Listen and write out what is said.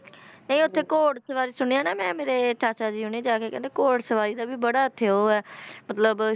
ਨਹੀਂ ਉੱਥੇ ਘੋੜ ਸਵਾਰੀ ਸੁਣਿਆ ਨਾ ਮੈਂ ਮੇਰੇ ਚਾਚਾ ਜੀ ਹੁਣੀ ਜਾ ਕੇ ਕਹਿੰਦੇ ਘੋੜ ਸਵਾਰੀ ਦਾ ਵੀ ਬੜਾ ਉੱਥੇ ਉਹ ਹੈ ਮਤਲਬ